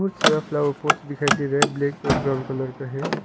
बोहोत सारा flower pot दिखाई दे रहा है ब्लैक ओर ब्राउन कलर का है।